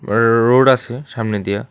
Rho-road আছে সামনে দিয়া।